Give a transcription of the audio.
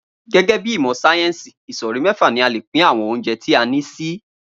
Gé̩gé̩ bí ìmò̩ sáyé̩ńsì, ìsò̩rí mé̩fà ni a lè pín àwo̩n oúnje̩ tí a ní sí